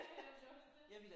Ja ja ja det er jo også det